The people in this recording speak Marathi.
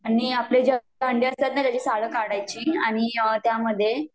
आणि आपली जे काही अंडी असतात न त्यांची सालं काढायची आणि त्यामध्ये